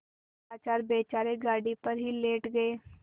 लाचार बेचारे गाड़ी पर ही लेट गये